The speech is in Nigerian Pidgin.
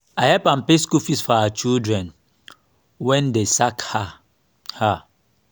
abeg make i use your bucket fetch water my own don break